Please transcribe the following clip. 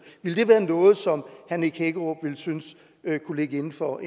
være noget som herre nick hækkerup ville synes kunne ligge inden for